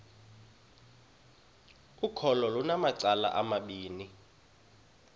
ukholo lunamacala amabini